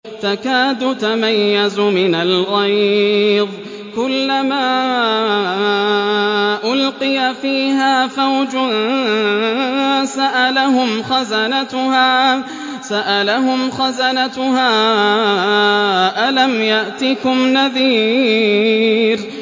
تَكَادُ تَمَيَّزُ مِنَ الْغَيْظِ ۖ كُلَّمَا أُلْقِيَ فِيهَا فَوْجٌ سَأَلَهُمْ خَزَنَتُهَا أَلَمْ يَأْتِكُمْ نَذِيرٌ